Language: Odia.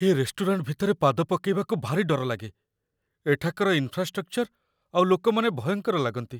ଏ ରେଷ୍ଟୁରାଣ୍ଟ ଭିତରେ ପାଦ ପକେଇବାକୁ ଭାରି ଡର ଲାଗେ । ଏଠାକାର ଇନଫ୍ରାଷ୍ଟ୍ରକ୍ଚର ଆଉ ଲୋକମାନେ ଭୟଙ୍କର ଲାଗନ୍ତି ।